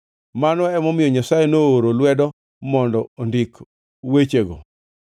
Mano emomiyo Nyasaye nooro lwedo mondo ondik wechego.